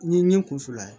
N ye nin kunna ye